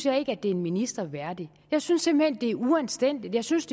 at det er en minister værdigt jeg synes simpelt det er uanstændigt jeg synes